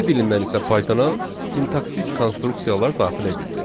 C dilindən isə Pythona sintaksis konstruksiyalar daxil edildi.